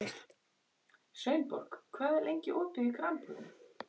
Sveinborg, hvað er lengi opið í Krambúðinni?